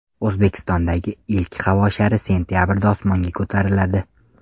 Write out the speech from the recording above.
O‘zbekistondagi ilk havo shari sentabrda osmonga ko‘tariladi .